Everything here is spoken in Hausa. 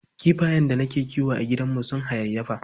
Kifayen da nake kiwo a gidana sun hayayyafa.